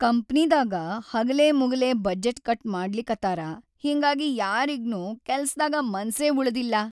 ಕಂಪನಿದಾಗ ಹಗಲೆಮುಗಲೆ budget cut ಮಾಡ್ಲಿಕತ್ತಾರ ಹಿಂಗಾಗಿ ಯಾರಿಗ್ನೂ ಕೆಲ್ಸದಾಗ ಮನ್ಸೇ ಉಳದಿಲ್ಲಾ.